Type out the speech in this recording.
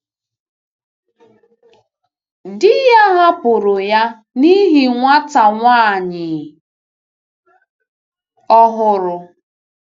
Di ya hapụrụ ya n’ihi nwata nwanyị ọhụrụ.